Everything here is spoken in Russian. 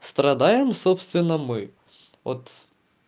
страдаем собственно мы от